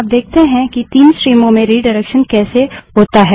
अब देखते है कि 3 स्ट्रीमों में रिडाइरेक्शन कैसे होता है